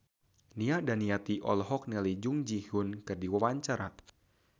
Nia Daniati olohok ningali Jung Ji Hoon keur diwawancara